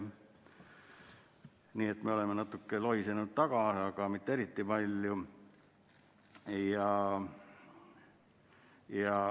Nii et me oleme natuke taga lohisenud, aga mitte eriti palju.